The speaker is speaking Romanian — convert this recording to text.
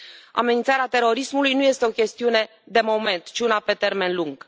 Amenințarea terorismului nu este o chestiune de moment, ci una pe termen lung.